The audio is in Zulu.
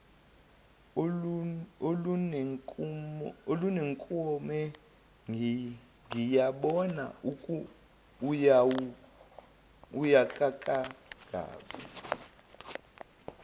olunenkume ngiyabona awukakangazi